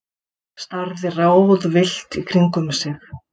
Starði ráðvillt í kringum sig.